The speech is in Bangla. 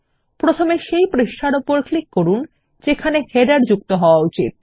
প্রথমে সেই পৃষ্ঠার ওপর ক্লিক করুন যেখানে শিরোলেখ যোগ করা উচিত